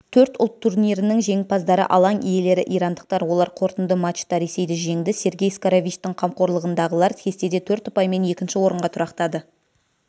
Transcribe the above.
төрт ұлт турнирінің жеңімпаздары алаң иелері ирандықтар олар қорытынды матчта ресейді жеңді сергей скоровичтің қамқорлығындағылар кестеде төрт ұпаймен екінші орынға тұрақтады